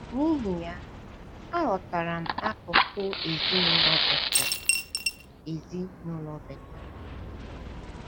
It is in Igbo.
N’ihi ya, aghọtara m akụkụ ezinụlọ Bethel. ezinụlọ Bethel.